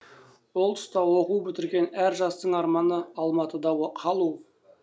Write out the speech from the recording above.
ол тұста оқу бітірген әр жастың арманы алматыда қалу